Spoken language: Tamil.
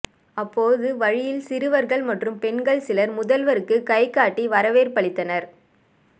அப்போது வழியில் சிறுவர்கள் மற்றும் பெண்கள் சிலர் முதல்வருக்கு கைகாட்டி வரவேற்பளித்தனர்